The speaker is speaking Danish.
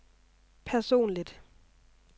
personligt